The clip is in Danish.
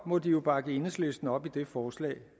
må de jo bakke enhedslisten op i det forslag